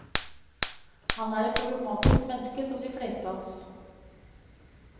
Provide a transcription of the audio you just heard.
Han er et problematisk menneske som de fleste av oss.